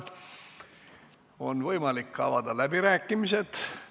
On võimalik avada läbirääkimised.